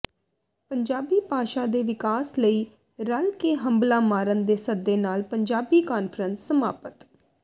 ਪੰਜਾਬੀ ਭਾਸ਼ਾ ਦੇ ਵਿਕਾਸ ਲਈ ਰਲ਼ ਕੇ ਹੰਭਲਾ ਮਾਰਨ ਦੇ ਸੱਦੇ ਨਾਲ ਪੰਜਾਬੀ ਕਾਨਫਰੰਸ ਸਮਾਪਤ